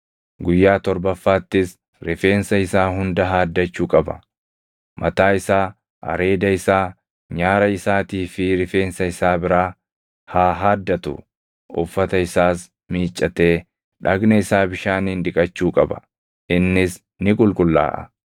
Guyyaa torbaffaattis rifeensa isaa hunda haaddachuu qaba; mataa isaa, areeda isaa, nyaara isaatii fi rifeensa isaa biraa haa haaddatu. Uffata isaas miiccatee dhagna isaa bishaaniin dhiqachuu qaba; innis ni qulqullaaʼa.